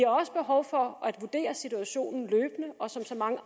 også behov for at vurdere situationen løbende og som så mange